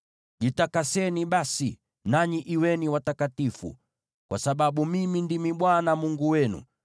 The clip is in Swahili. “ ‘Jitakaseni basi, nanyi kuweni watakatifu, kwa sababu mimi ndimi Bwana Mungu wenu.